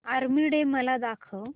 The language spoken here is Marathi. आर्मी डे मला दाखव